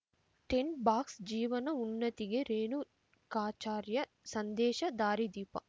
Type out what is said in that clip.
tint box ಜೀವನ ಉನ್ನತಿಗೆ ರೇಣುಕಾಚಾರ್ಯ ಸಂದೇಶ ದಾರಿದೀಪ